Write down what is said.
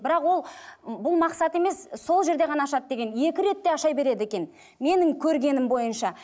бірақ ол ы бұл мақсат емес сол жерде ғана ашады деген екі рет те аша береді екен менің көргенім бойынша